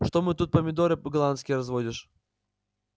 что мы тут помидоры голландские разводишь